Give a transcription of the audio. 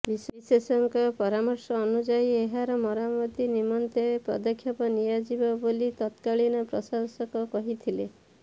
ବିଶେଷଜ୍ଞଙ୍କ ପରାମର୍ଶ ଅନୁଯାୟୀ ଏହାର ମରାମତି ନିମନ୍ତେ ପଦକ୍ଷେପ ନିଆଯିବ ବୋଲି ତତ୍କାଳୀନ ପ୍ରଶାସକ କହିଥିଲେ